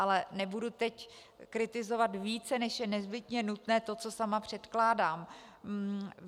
Ale nebudu teď kritizovat více, než je nezbytně nutné, to, co sama předkládám.